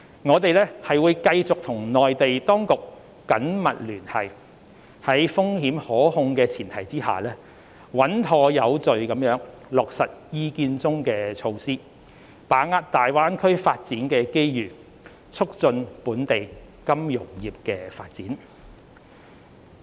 我們會繼續與內地當局緊密聯繫，在風險可控的前提下，穩妥有序地落實《意見》中的措施，把握大灣區發展的機遇，促進本地金融業發展。